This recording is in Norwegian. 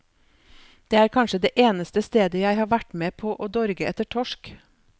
Det er kanskje det eneste stedet jeg har vært med på å dorge etter torsk.